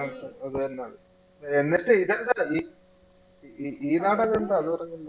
അത് തന്നെ ആള്. എന്നിട്ട് ഇതെന്താ ഈ, ഈ, ഈ നാടകം എന്താ അത് പറഞ്ഞില്ലല്ലോ